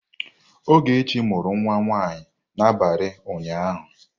Ogechi mụrụ nwa nwanyị n'abalị ụnyaahụ.